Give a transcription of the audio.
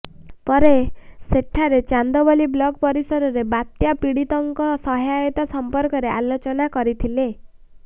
ପରେ ସେଠାରେ ଚାନ୍ଦବାଲି ବ୍ଳକ ପରିସରରେ ବାତ୍ୟା ପୀଡ଼ିତଙ୍କ ସହାୟତା ସମ୍ପର୍କରେ ଆଲୋଚନା କରିଥିଲେ